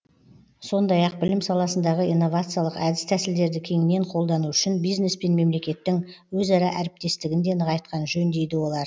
сондай ақ білім саласындағы инновациялық әдіс тәсілдерді кеңінен қолдану үшін бизнес пен мемлекеттің өзара әріптестігін де нығайтқан жөн дейді олар